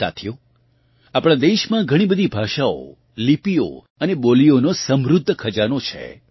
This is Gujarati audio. સાથીઓ આપણાં દેશમાં ઘણી બધી ભાષાઓ લિપિઓ અને બોલિઓનો સમૃદ્ધ ખજાનો છે